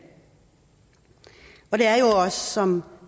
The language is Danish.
er jo også som